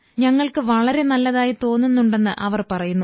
ഞങ്ങൾക്ക് വളരെ നല്ലതായി തോന്നുന്നുണ്ടെന്ന് അവർ പറയുന്നു